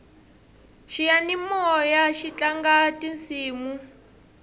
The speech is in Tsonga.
xiyanimoyaxi tlanga tisimu